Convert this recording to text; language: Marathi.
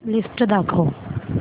लिस्ट दाखव